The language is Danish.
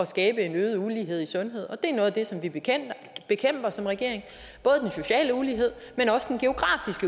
skabe en øget ulighed i sundheden det er noget af det som vi bekæmper som regering både den sociale ulighed